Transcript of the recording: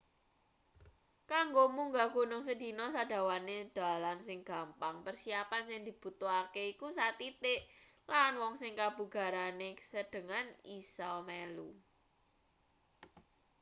kanggo munggah gunung sedina sadawane dalan sing gampang persiapan sing dibutuhake iku sathithik lan wong sing kabugarane sedhengan bisa melu